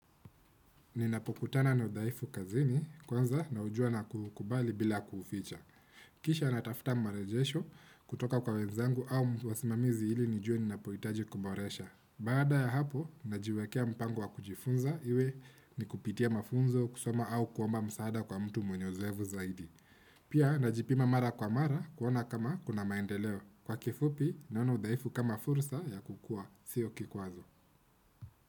Ninapokutana na udhaifu kazini kwanza naujua na ku ukubali bila kuficha. Kisha natafuta marejesho kutoka kwa wenzangu au wasimamizi ili nijue ninapohitaji kuboresha. Baada ya hapo, najiwekea mpango wa kujifunza iwe ni kupitia mafunzo kusoma au kuomba msaada kwa mtu mwenye ozoefu zaidi. Pia, najipima mara kwa mara kuona kama kuna maendeleo. Kwa kifupi, naona udhaifu kama fursa ya kukua, siyo kikwazo.